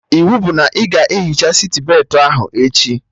Iwu bụ na ị ga-ehicha sitbetị ahụ echi!